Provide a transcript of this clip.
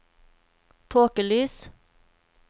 tåkelys